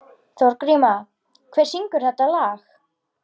Þorgríma, hver syngur þetta lag?